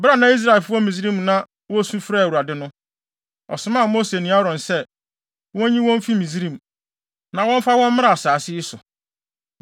“Bere a na Israelfo wɔ Misraim na wosu frɛɛ Awurade no, ɔsomaa Mose ne Aaron sɛ, wonnyi wɔn mfi Misraim, na wɔmfa wɔn mmra saa asase yi so.